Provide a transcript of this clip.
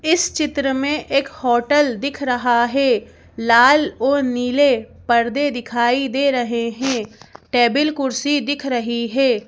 इस चित्र में एक होटल दिख रहा है लाल और नीले पर्दे दिखाई दे रहे हैं टेबल कुर्सी दिख रही है।